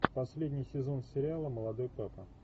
последний сезон сериала молодой папа